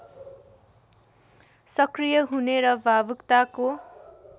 सक्रिय हुने र भावुकताको